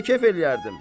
Mən də kef eləyərdim.